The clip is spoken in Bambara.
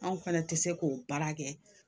Anw fana tɛ se k'o baara kɛ